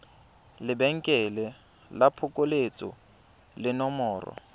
lebenkele la phokoletso le nomoro